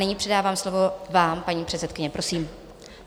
Nyní předávám slovo vám, paní předsedkyně, Prosím.